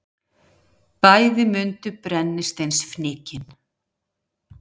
Bæði mundu brennisteinsfnykinn.